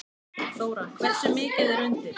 Þóra: Hversu mikið er undir?